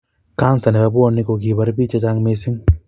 Kansa nebo bwonik ko kikobar biik chechang missing